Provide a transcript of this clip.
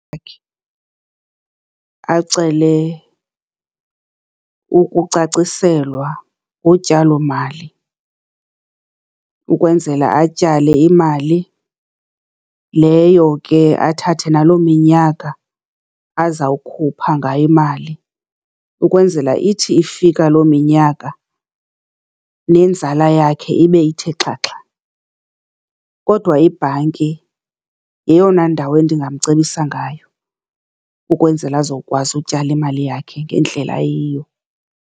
acele kukucaciselwa ngotyalo mali ukwenzela atyale imali leyo ke athathe naloo minyaka azawukhupha ngayo imali, ukwenzela ithi ifika loo minyaka nenzala yakhe ibe ithe xhaxha. Kodwa ibhanki yeyona ndawo endingamcebisa ngayo ukwenzela azowukwazi ukutyala imali yakhe ngendlela eyiyo.